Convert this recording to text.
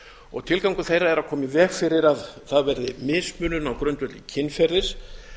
og tilgangur þeirra er að koma í veg fyrir að það verði mismunun á grundvelli kynferðis